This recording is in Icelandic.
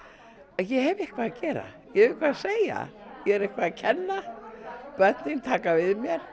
ég hef eitthvað að gera ég hef eitthvað að segja ég er eitthvað að kenna börnin taka við mér